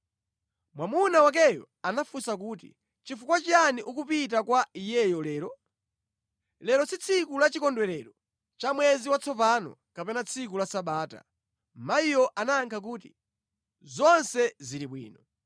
Mwamuna wakeyo anafunsa kuti, “Chifukwa chiyani ukupita kwa iyeyo lero? Lero si tsiku la Chikondwerero cha Mwezi Watsopano kapena tsiku la Sabata.” Mayiyo anayankha kuti, “Zonse zili bwino.”